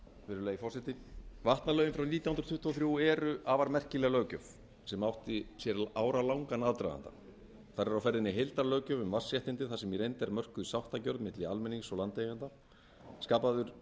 virðulegi forseti vatnalögin frá nítján hundruð tuttugu og þrjú eru afar merkileg löggjöf sem átti sér áralangan aðdraganda þar er á ferðinni heildarlöggjöf um vatnsréttindi þar sem í reynd er mörkuð sáttargjörð milli almennings og landeigendaskapaður